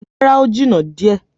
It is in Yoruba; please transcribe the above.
Rárá, ó jìnnà díẹ̀.